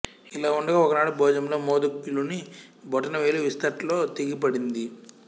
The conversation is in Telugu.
ఇలా ఉండగా ఒకనాడు భోజనంలో మౌద్గల్యుని బొటన వ్రేలు విస్థట్లో తెగిపడింది